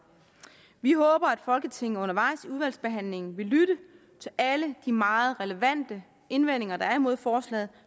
vi håber at folketinget undervejs i udvalgsbehandlingen vil lytte til alle de meget relevante indvendinger der er kommet imod forslaget